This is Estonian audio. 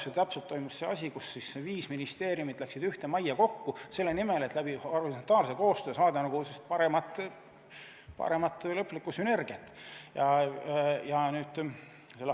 Tollal toimus just see, et viis ministeeriumi läksid ühte majja kokku, selle nimel, et horisontaalse koostöö abil saada paremat lõplikku sünergiat.